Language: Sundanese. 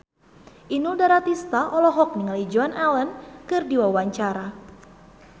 Inul Daratista olohok ningali Joan Allen keur diwawancara